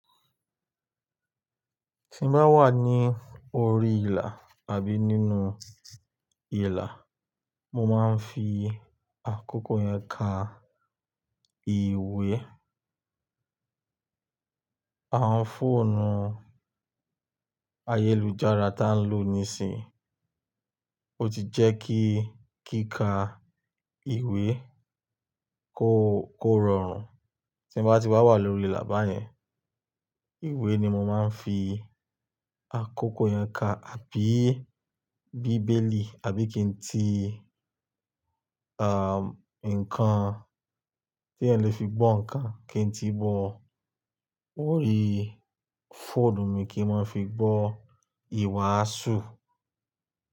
Tí n bá wà ní orí ìlà àbí nínú ìlà, mo máa ń fi àkókò yẹn ka ìwé. Àwọn fóònù ayélujára tí à ń lò nísìínyi, ó ti jẹ́ kí kíkà ìwé kó rọrùn. Tí n bá ti wà wa lórí ìlà bá yẹn, ìwé ni mo máa ń fi àkókò yẹn ka, àbí Bíbélì, àbí kí n tí, àn, nǹkan tí ẹ́ń lè fi gbọ́ nǹkan, kí n tí bọ̀ orí fóònù mi kí n máa fi gbọ́ ìwàásù.